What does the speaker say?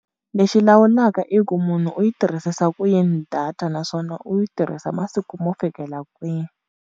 Lexi lawulaka i ku munhu u yi tirhisisa ku yini data naswona u yi tirhisa masiku mo fikela kwini.